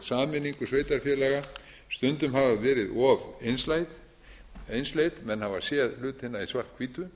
sameiningu sveitarfélaga stundum hafa verið of einsleit menn hafa séð hlutina í svart hvítu